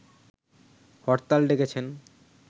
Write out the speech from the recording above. হরতাল ডেকেছেন